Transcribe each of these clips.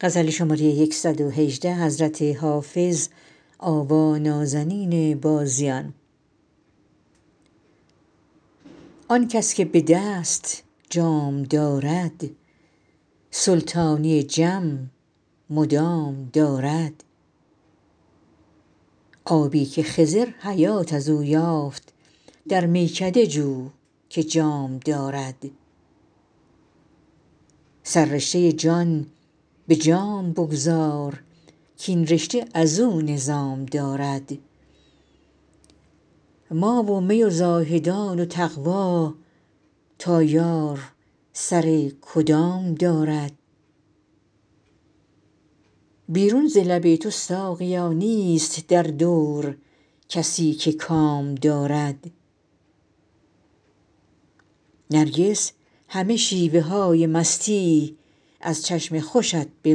آن کس که به دست جام دارد سلطانی جم مدام دارد آبی که خضر حیات از او یافت در میکده جو که جام دارد سررشته جان به جام بگذار کاین رشته از او نظام دارد ما و می و زاهدان و تقوا تا یار سر کدام دارد بیرون ز لب تو ساقیا نیست در دور کسی که کام دارد نرگس همه شیوه های مستی از چشم خوشت به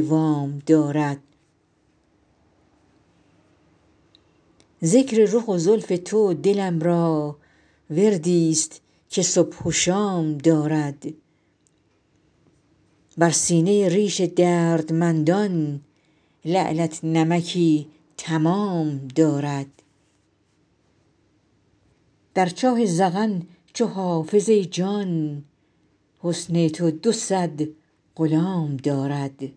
وام دارد ذکر رخ و زلف تو دلم را وردی ست که صبح و شام دارد بر سینه ریش دردمندان لعلت نمکی تمام دارد در چاه ذقن چو حافظ ای جان حسن تو دو صد غلام دارد